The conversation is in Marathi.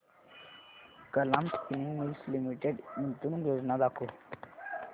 कलाम स्पिनिंग मिल्स लिमिटेड गुंतवणूक योजना दाखव